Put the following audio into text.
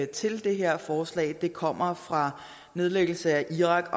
til det her forslag kommer fra nedlæggelse af irak